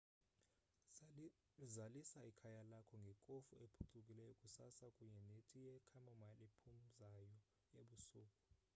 zalisa ikhaya lakho ngekofu ephucukileyo kusasa kunye neti ye chamomile ephumzayo ebusuku